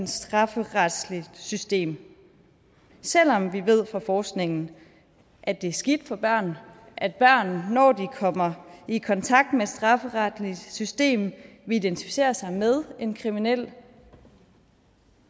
strafferetsligt system selv om vi ved fra forskningen at det er skidt for børn at børn når de kommer i kontakt med et strafferetligt system vil identificere sig med en kriminel